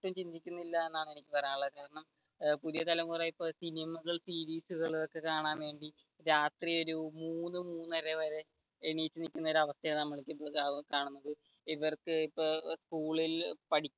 കുറിച്ച് ഒട്ടും ചിന്തിക്കുന്നില്ല എന്നാണ് എനിക്ക് പറയാനുള്ളത് കാരണം ഇപ്പൊ പുതിയ തലമുറ ഇപ്പൊ സിനിമകളും സീരീസുകളും ഒക്കെ കാണാൻ വേണ്ടി രാത്രി ഒരു മൂന്ന് മൂന്നര വരെ എണീറ്റു നിക്കുന്ന ഒരു അവസ്ഥയായാണ് നമ്മൾ ഇപ്പൊ കാണുന്നത് ഇവർക്ക് ഇപ്പോ സ്കൂളിൽ